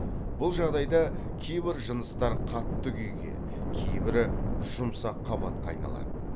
бұл жағдайда кейбір жыныстар қатты күйге кейбірі жұмсақ қабатқа айналады